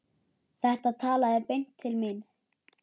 Þetta talaði beint til mín.